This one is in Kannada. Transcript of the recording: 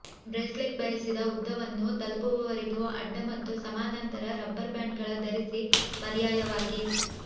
ಬ್ರೇಸ್ಲೆಟ್ ಬಯಸಿದ ಉದ್ದವನ್ನು ತಲುಪುವವರೆಗೆ ಅಡ್ಡ ಮತ್ತು ಸಮಾನಾಂತರ ರಬ್ಬರ್ ಬ್ಯಾಂಡ್ಗಳ ಧರಿಸಿ ಪರ್ಯಾಯವಾಗಿ